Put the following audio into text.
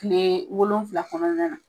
Tilee wolonfila kɔnɔna na